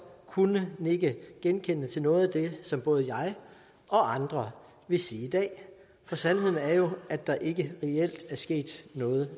kunne nikke genkendende til noget af det som både jeg og andre vil sige i dag for sandheden er jo at der ikke reelt er sket noget